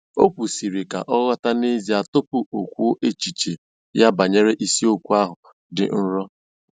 Ọ kwụsịrị ka ọ ghọta n'ezie tupu o kwuo echiche ya banyere isiokwu ahụ dị nrọ